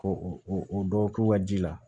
Ko o dɔ k'u ka ji la